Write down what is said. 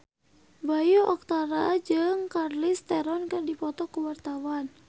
Bayu Octara jeung Charlize Theron keur dipoto ku wartawan